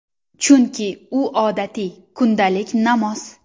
Chunki, u odatiy, kundalik namoz.